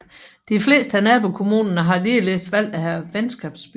De fleste af nabokommunerne har ligeledes valgt at have venskabsbyer